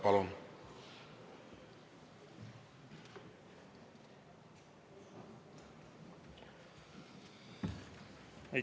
Palun!